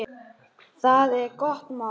Það er gott mál.